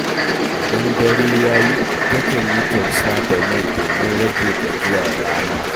Idan dare ya yi, takan yi tausa da mai domin rage gajiyar rana.